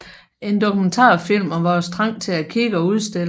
En dokumentarfilm om vores trang til at kigge og udstille